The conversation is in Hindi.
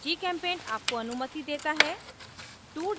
gchempaint आपको अनुमति देता है